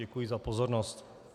Děkuji za pozornost.